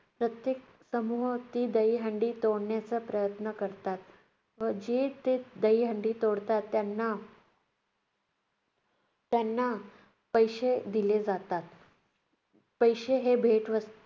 समूहात ती दहीहंडी तोडण्याचा प्रयत्न करतात. व जे ते दहीहंडी तोडतात त्यांना त्यांना पैसे दिले जातात. पैसे हे भेटवस्तू